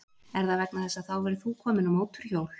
Er það vegna þess að þá verður þú kominn á mótorhjól?